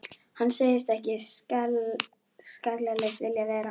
Hann segist ekki skallalaus vilja vera.